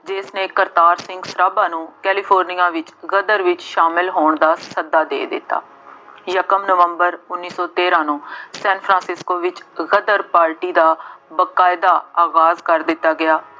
ਜਿਸਨੇ ਕਰਤਾਰ ਸਿੰਘ ਸਰਾਭਾ ਨੂੰ ਕੈਲੀਫੋਰਨੀਆ ਵਿੱਚ ਗਦਰ ਵਿੱਚ ਸ਼ਾਮਿਲ ਹੋਣ ਦਾ ਸੱਦਾ ਦੇ ਦਿੱਤਾ। ਯਕਮ ਨਵੰਬਰ ਉੱਨੀ ਸੌ ਤੇਰਾਂ ਨੂੰ ਸੈਂਨਫਰਾਸਿਸਕੋ ਵਿੱਚ ਗਦਰ ਪਾਰਟੀ ਦਾ ਬਕਾਇਦਾ ਆਗਾਜ਼ ਕਰ ਦਿੱਤਾ ਗਿਆ